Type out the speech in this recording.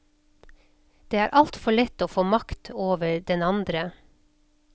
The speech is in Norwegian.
Det er altfor lett å få makt over den andre.